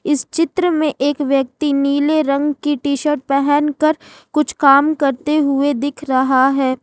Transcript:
इस चित्र में एक व्यक्ति नीले रंग की टीशर्ट पहनकर कुछ काम करते हुए दिख रहा है।